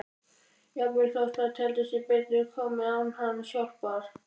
Jafnvel þótt það teldi sig betur komið án hans hjálpar.